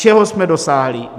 Čeho jsme dosáhli?